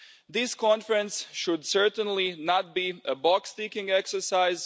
This conference should certainly not be a box-ticking exercise.